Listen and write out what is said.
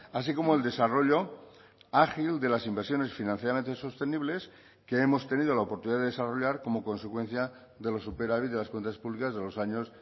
así como el desarrollo ágil de las inversiones financieramente sostenibles que hemos tenido la oportunidad de desarrollar como consecuencia de los superávit de las cuentas públicas de los años